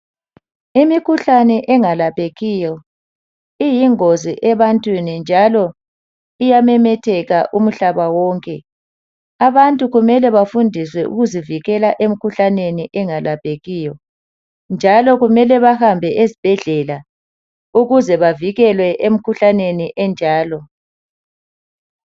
Imikhuhlane engalaphekiyo iyingozi ebantwini njalo iyamemetheka umhlaba wonke. Abantu kumele bafundiswe ukuzivikela emkhuhlaneni engalaphekiyo. Njalo kumele bahambe ezibhedlela ukuze bavikelwe emkhuhlaneni enjalo.